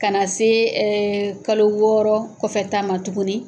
Ka na se ɛ kalo wɔɔrɔ kɔfɛ ta ma tugunni.